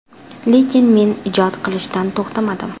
Lekin men ijod qilishdan to‘xtamadim.